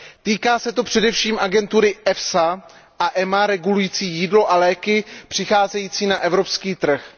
Týká se to především agentury EFSA a EMEA regulujících jídlo a léky přicházející na evropský trh.